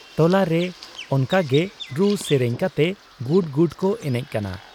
ᱴᱚᱞᱟᱨᱮ ᱚᱱᱠᱟᱜᱮ ᱨᱩ ᱥᱮᱨᱮᱧ ᱠᱟᱛᱮ ᱜᱩᱰ ᱜᱩᱰ ᱠᱚ ᱮᱱᱮᱡ ᱠᱟᱱᱟ ᱾